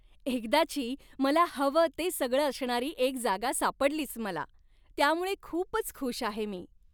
एकदाची, मला हवं ते सगळं असणारी एक जागा सापडलीच मला, त्यामुळे खूपच खुश आहे मी.